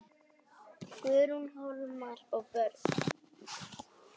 Guðrún, Hólmar og börn.